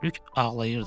Lük ağlayırdı.